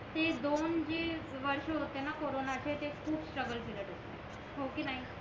ते दोन जे वर्ष होते ना कॉरोन चे ते खूप स्ट्रगल पिरियड होते हो कि नाही